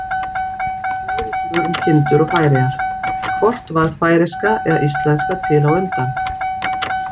Fleiri svör um kindur og Færeyjar: Hvort varð færeyska eða íslenska til á undan?